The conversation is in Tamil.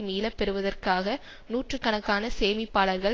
மீள பெறுவதற்காக நூற்று கணக்கான சேமிப்பாளர்கள்